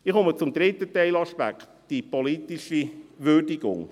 Ich komme zum dritten Teilaspekt, die politische Würdigung.